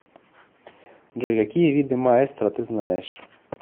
джой какие виды маэстро ты знаешь